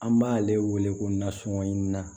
An b'ale wele ko nasɔngɔ na